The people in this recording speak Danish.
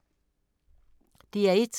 DR1